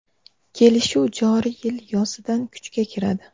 Kelishuv joriy yil yozidan kuchga kiradi.